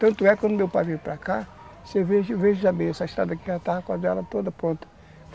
Tanto é que quando meu pai veio para cá, você veja, essa cidade aqui já estava quase toda pronta.